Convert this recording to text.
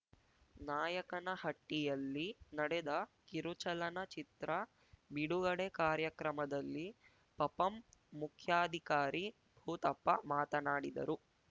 ನಾಯಕನಹಟ್ಟಿಯಲ್ಲಿ ನಡೆದ ಕಿರುಚಲನ ಚಿತ್ರ ಬಿಡುಗಡೆ ಕಾರ್ಯಕ್ರಮದಲ್ಲಿ ಪಪಂ ಮುಖ್ಯಾಧಿಕಾರಿ ಭೂತಪ್ಪ ಮಾತನಾಡಿದರು